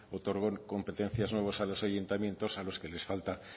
otorgó competencias nuevas a los ayuntamientos a los que les falta